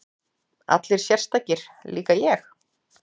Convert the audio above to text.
Allir sérstakir, líka ég?